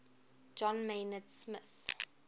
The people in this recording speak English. john maynard smith